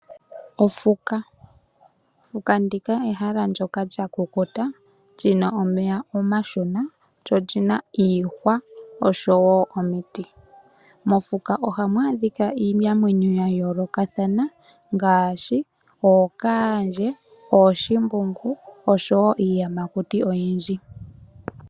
Ofuka ehala ndyoka lyakukuta , li na omeya omashona, lyo oli na iihwa osho wo omiti. Mofuka ohamu adhika iinamwenyo ya yoolokathana ngaashi ookaandje, ooshimbungu osho wo iiyamakuti oyindji.